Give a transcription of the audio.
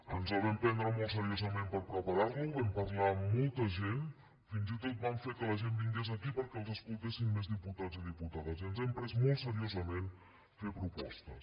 ens el vam prendre molt seriosament per preparar lo vam parlar amb molta gent fins i tot vam fer que la gent vingués aquí perquè els escoltessin més diputats i diputades i ens hem pres molt seriosament fer propostes